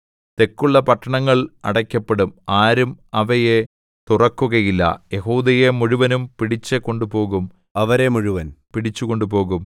തെക്കുള്ള പട്ടണങ്ങൾ അടയ്ക്കപ്പെടും ആരും അവയെ തുറക്കുകയില്ല യെഹൂദയെ മുഴുവനും പിടിച്ചു കൊണ്ടുപോകും അവരെ മുഴുവൻ പിടിച്ചു കൊണ്ടുപോകും